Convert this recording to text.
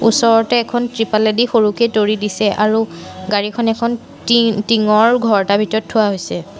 ওচৰতে এখন তৃপালেদি সৰুকে তৰি দিছে আৰু গাড়ীখন এখন টিংঙৰ ঘৰ এটাৰ ভিতৰত থোৱা হৈছে।